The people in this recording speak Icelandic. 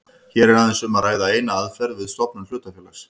Hér er aðeins um að ræða eina aðferð við stofnun hlutafélags.